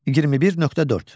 21.4.